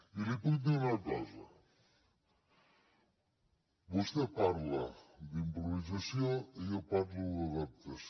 i li puc dir una cosa vostè parla d’improvisació i jo parlo d’adaptació